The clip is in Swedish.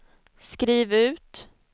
skriv ut